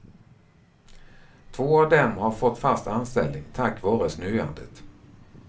Två av dem har fått fast anställning tack vare snöandet.